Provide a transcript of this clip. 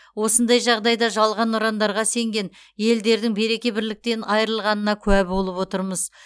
осындай жағдайда жалған ұрандарға сенген елдердің береке бірліктен айырылғанына куә болып отырмыз